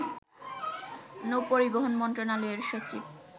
নৌপরিবহন মন্ত্রণালয়ের সচিব